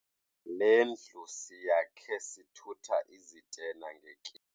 Le ndlu siyakhe sithutha izitena.